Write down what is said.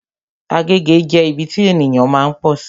Agege jẹ́ ibi tí ènìyàn máa ń pọ̀sí